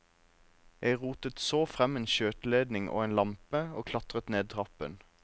Jeg rotet så frem en skjøteledning og en lampe, og klatret ned trappen.